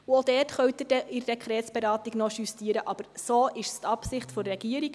Auch dort können Sie in der Dekretsberatung noch justieren, aber dies ist die Absicht der Regierung.